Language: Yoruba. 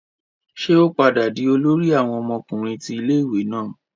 Ṣe o padà dì olórí awon ọmọkùnrin ti ilé-ìwé náà?